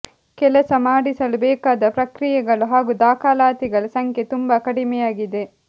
ಕೆಲಸ ಮಾಡಿಸಲು ಬೇಕಾದ ಪ್ರಕ್ರಿಯೆಗಳು ಹಾಗೂ ದಾಖಲಾತಿಗಳ ಸಂಖ್ಯೆ ತುಂಬಾ ಕಡಿಮೆಯಾಗಿದೆ